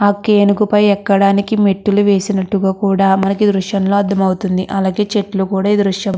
ఆ పైకి ఎక్కడానికి మెట్లు వేసినట్టుగ కూడా మనకు ఈ దృశ్యంలో అర్ధమవుతుంది. అలాగే చెట్టులు కూడా ఈ దృశ్యం లో--